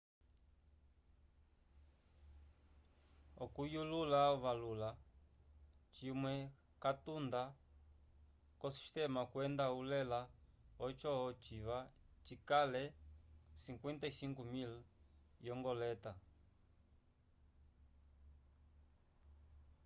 okuyulula ovavula cimwe catunda ko sistema kwenda ulela oco ociva cikale 55.000 yo ngoleta